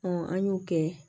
an y'o kɛ